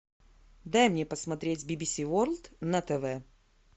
дай мне посмотреть бибиси ворлд на тв